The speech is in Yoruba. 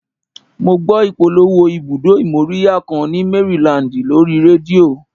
Mo gbọ́ ìpolówó ibùdó ìmóríyá kan ni Maryland lórí rédíò